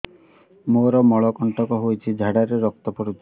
ମୋରୋ ମଳକଣ୍ଟକ ହେଇଚି ଝାଡ଼ାରେ ରକ୍ତ ପଡୁଛି